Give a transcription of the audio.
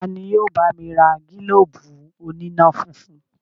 Tani yóò bá mi ra gílóbù oníná-funfun?